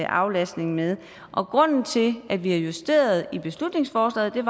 aflastning med og grunden til at vi har justeret i beslutningsforslaget er